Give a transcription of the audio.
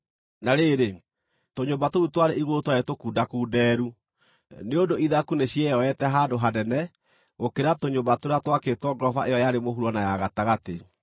Na rĩrĩ, tũnyũmba tũu twarĩ igũrũ twarĩ tũkundakundeeru, nĩ ũndũ ithaku nĩcioete handũ hanene gũkĩra tũnyũmba tũrĩa twakĩtwo ngoroba ĩyo yarĩ mũhuro na ya gatagatĩ.